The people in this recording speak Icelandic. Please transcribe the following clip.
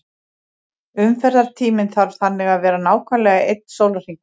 Umferðartíminn þarf þannig að vera nákvæmlega einn sólarhringur.